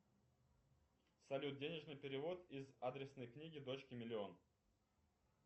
салют денежный перевод из адресной книги дочке миллион